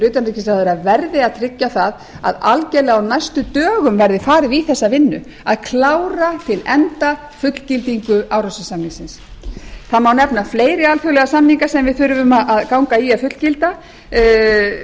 utanríkisráðherra verði að tryggja það að algjörlega á næstu dögum verði farið í þessa vinnu að klára til enda fullgildingu árósasamningsins það má nefna fleiri alþjóðlega samninga sem við þurfum að ganga í að fullgilda það